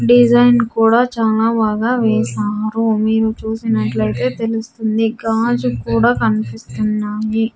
Design కూడా చాలా బాగా వేశారు మీరు చూసినట్లయితే తెలుస్తుంది గాజు కూడా కనిపిస్తున్నాయి.